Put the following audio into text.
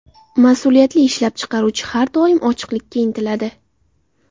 Mas’uliyatli ishlab chiqaruvchi har doim ochiqlikka intiladi.